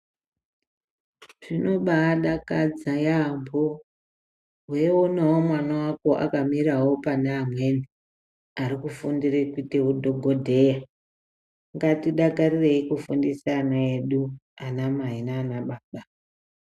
Zvinobadakadza yaambo weionawo mwana wako akamire pane arikufundira kuita hudhokodheya. Ngatidakarirei kufundisa ana edu ana mai nana baba.